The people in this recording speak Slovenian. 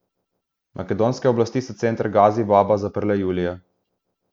Makedonske oblasti so center Gazi Baba zaprle julija.